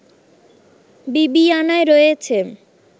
বিবিআনায় রয়েছে